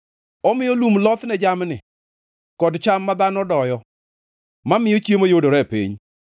Omiyo lum loth ne jamni, kod cham ma dhano doyo, mamiyo chiemo yudore e piny;